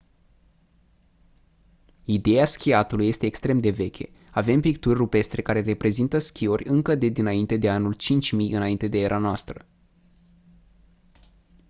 ideea schiatului este extrem de veche avem picturi rupestre care reprezintă schiori încă de dinainte de anul 5000 î.e.n